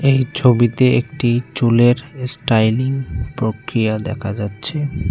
এই ছবিতে একটি চুলের এস্টাইলিং প্রক্রিয়া দেখা যাচ্ছে।